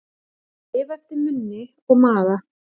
Að lifa eftir munni og maga